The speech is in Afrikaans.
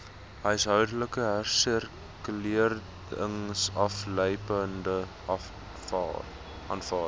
huishoudelike hersirkuleringsaflaaipunte aanvaar